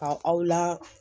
Ka aw la